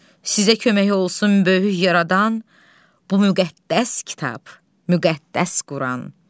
Sizə kömək olsun böyük yaradan bu müqəddəs kitab, müqəddəs Quran.